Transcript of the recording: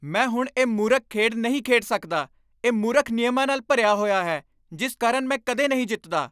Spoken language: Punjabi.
ਮੈਂ ਹੁਣ ਇਹ ਮੂਰਖ ਖੇਡ ਨਹੀਂ ਖੇਡ ਸਕਦਾ ਇਹ ਮੂਰਖ ਨਿਯਮਾਂ ਨਾਲ ਭਰਿਆ ਹੋਇਆ ਹੈ ਜਿਸ ਕਾਰਨ ਮੈਂ ਕਦੇ ਨਹੀਂ ਜਿੱਤਦਾ